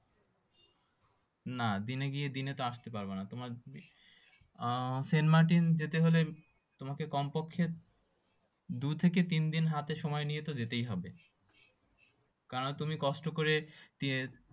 না দিনে গিয়ে দিনেতে আসতে পারবা না তোমার আহ সেন্টমার্টিন যেতে হলে তোমাকে কমপক্ষে দুই থেকে তিন দিন হাতে সময় নিয়ে তো যেতেই হবে কারণ তুমি কষ্ট করে